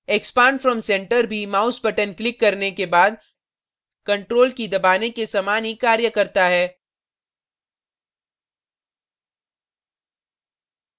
expand from centre भी mouse button click करने के बाद ctrl की key दबाने के समान ही ctrl करता है